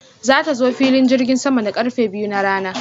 Za ta zo filin jirgin sama da karfe biyu na rana.